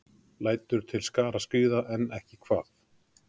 Lætur til skarar skríða, en ekki hvað?